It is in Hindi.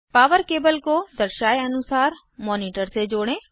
पॉवर केबल को दर्शाये अनुसार मॉनिटर से जोड़ें